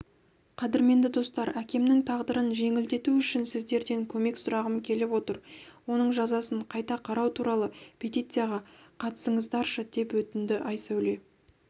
қадірменді достар әкемнің тағдырын жеңілдету үшін сіздерден көмек сұрағым келіп отыр оның жазасын қайта қарау туралы петицияға қатысыңыздаршы деп өтінді айсәуле